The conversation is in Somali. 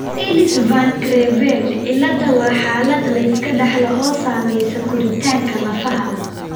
Ellis Van Creveld cilada waa xaalad la iska dhaxlo oo saamaysa koritaanka lafaha.